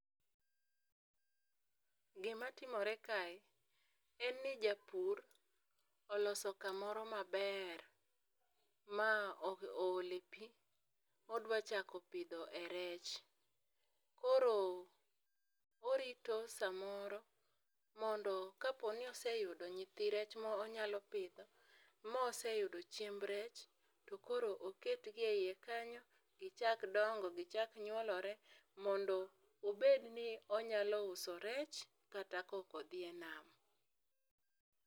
Gima timore kae, en ni japur oloso kamoro maber ma oole pi, odwa chako pidho e rech. Koro, orito samoro mondo ka po ni oseyudo nyithi rech ma onyalo pidho, ma oseyudo chiemb rech, to koro oketgi e ie kanyo, gichak dongo, gichak nyuolore. Mondo obed ni onyalo uso rech kata kok odhi e nam.